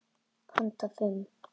Handa fimm